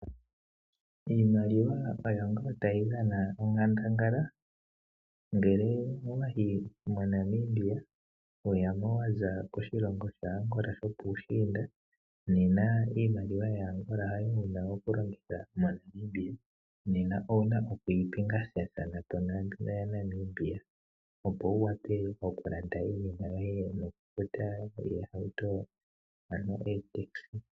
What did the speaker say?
Iimailiwa oyo ngaa tayi dhana onkandangala. Ngele owe ya moNamibia wa za poshilongo sho po Angola sho puushinda, nena iimaliwa yaAngola hayo wu na okulongitha moNamibia. Owu na okuyi pingakanitha niimaliwa yomoNamibia, opo wu wape okulanda iinima yoye nokufuta oolefa, ano otaxi.